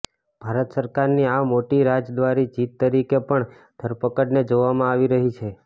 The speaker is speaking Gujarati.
ભારત સરકારની આ મોટી રાજદ્વારી જીત તરીકે પણ આ ધરપકડને જોવામાં આવી રહી છે